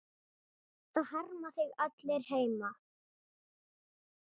Það harma þig allir heima.